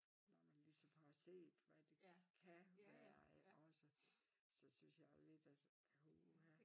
Når man ligesom har set hvad det kan være også så synes jeg lidt at puha